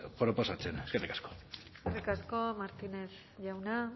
proposatzen eskerrik asko eskerrik asko martínez jauna